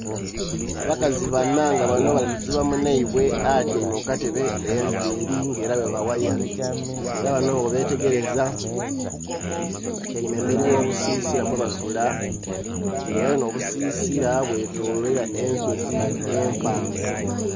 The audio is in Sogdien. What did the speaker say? Abakazi banha nga banho bali kusiba munhaibwe atyaime ku katebe enviri ngera bwebawaya. Ng'era banho bwobetegereza, batyaime emberi y'obusisira mwemasula, ng'era n'obusisira bwetoloirwa ensozi empanvu.